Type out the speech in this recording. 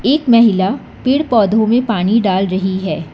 एक महिला पेड़ पौधों में पानी डाल रही है।